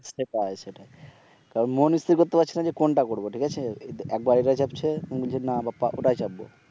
সেটাই সেটাই তারপর মন স্থির করতে পারছে না যে কোনটা করব ঠিক আছে একবার এটা চাপছে বলছে না বাপ্পা ওটাই চাপবো